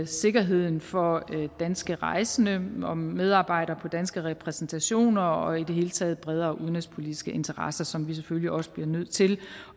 sikkerheden for danske rejsende om medarbejdere på danske repræsentationer og i det hele taget bredere udenrigspolitiske interesser som vi selvfølgelig også bliver nødt til